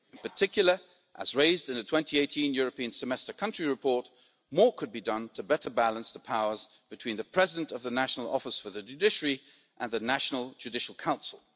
In particular, as raised in a 2018 European Semester country report, more could be done to better balance the powers between the President of the National Office for the Judiciary and the National Judicial Council.